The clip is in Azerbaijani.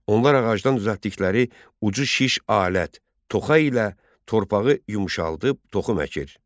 Onlar ağacdan düzəltdikləri ucu şiş alət, toxa ilə torpağı yumşaldıb toxum əkir.